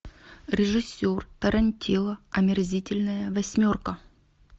режиссер тарантино омерзительная восьмерка